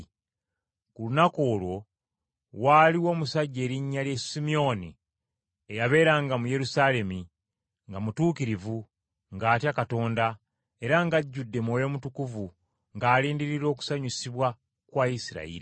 Ku lunaku olwo, waaliwo omusajja erinnya lye Simyoni, eyabeeranga mu Yerusaalemi, nga mutuukirivu, ng’atya Katonda, era ng’ajjudde Mwoyo Mutukuvu, ng’alindirira okusanyusibwa kwa Isirayiri.